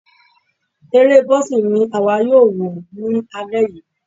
Eré boxing ni àwa yóò wò ní alẹ́ yìí.